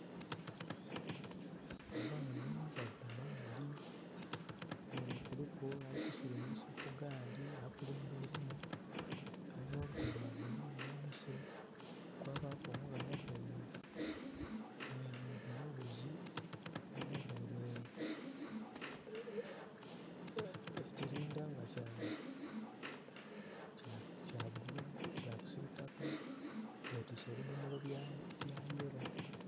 Abaana bava maadhi nga kuliku alikusiringisa egaali akulembeiremu. Alina olugoye lwa bululu ghansi kwabaku omughala aveire ebulaghuzi nhaveire ekilindha nga kya kisitaka betwise ebidhomolo bya yeelo.